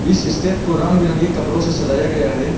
इस स्टेज को रंग बिरंगे कपड़ों से सजाया गया है।